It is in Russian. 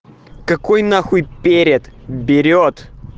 какой нахуй перед берет